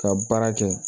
Ka baara kɛ